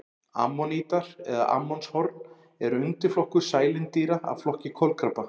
Ammonítar eða ammonshorn er undirflokkur sælindýra af flokki kolkrabba.